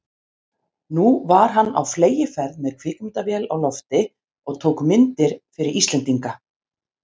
Nú var hann á fleygiferð með kvikmyndavél á lofti og tók myndir fyrir Íslendinga.